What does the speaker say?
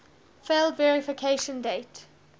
failed verification date